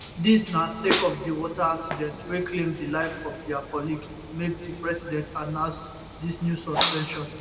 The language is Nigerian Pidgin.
dis na sake of di water accident wey claim di life of dia colleague make di president announce dis new suspension